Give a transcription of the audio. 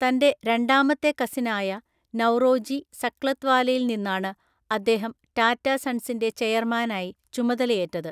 തന്റെ രണ്ടാമത്തെ കസിനായ നൗറോജി സക്ലത്‌വാലയിൽ നിന്നാണ് അദ്ദേഹം ടാറ്റ സൺസിന്റെ ചെയർമാനായി ചുമതലയേറ്റത്.